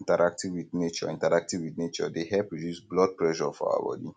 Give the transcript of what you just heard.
interacting with nature interacting with nature dey help reduce blood pressure for our body